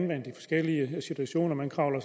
det situationer man kravler